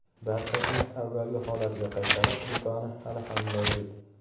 Barchasini avvalgi holatiga qaytarish imkoni hali ham mavjud.